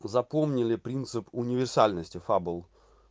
запомнили принцип универсальности фабл